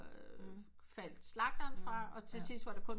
Faldt slagterne fra og til sidst var det kun